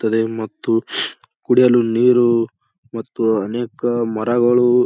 ತದೆ ಮತ್ತು ಕುಡಿಯಲು ನೀರು ಮತ್ತು ಅನೇಕ ಮರಗಳು--